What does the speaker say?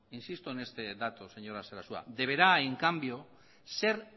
insisto en este dato señora sarasua deberá en cambio ser